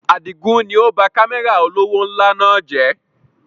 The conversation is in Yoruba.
Àdigun ni ó ba Kámẹ́rà olówó ńlá náà jẹ̀